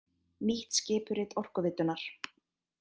Nýtt skipurit Orkuveitunnar